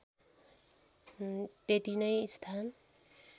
त्यति नै स्थान